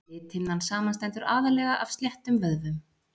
Lithimnan samanstendur aðallega af sléttum vöðvum.